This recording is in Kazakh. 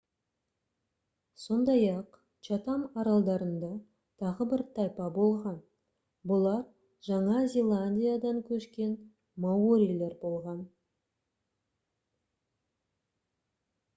сондай-ақ чатам аралдарында тағы бір тайпа болған бұлар жаңа зеландиядан көшкен маорилер болған